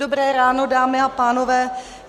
Dobrá ráno, dámy a pánové.